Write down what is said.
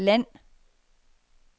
land